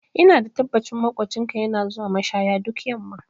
Ina da tabbacin maƙocinka yana zuwa mashaya duk yamma